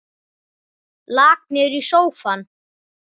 Lak niður í sófann.